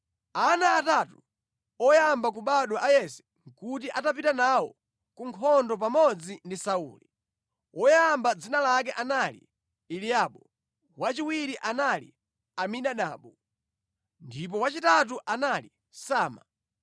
Ana atatu oyamba kubadwa a Yese nʼkuti atapita nawo ku nkhondo pamodzi ndi Sauli. Woyamba dzina lake anali Eliabu, wachiwiri anali Abinadabu, ndipo wachitatu anali Sama.